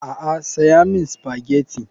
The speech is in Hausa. A'a saya min spaghetti.